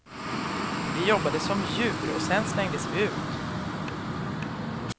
Vi jobbade som djur och sen slängdes vi ut.